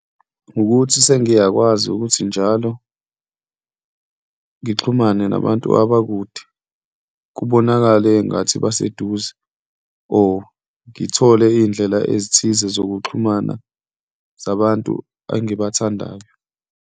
Ukuthi sengiyakwazi ukuthi njalo ngixhumane nabantu abakude kubonakale engathi baseduze or ngithole iy'ndlela ezithize zokuxhumana zabantu engibathandayo.